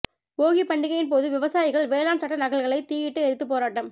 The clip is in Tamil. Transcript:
போகிப் பண்டிகையின் போது விவசாயிகள் வேளாண் சட்ட நகல்களை தீயிட்டு எரித்து போராட்டம்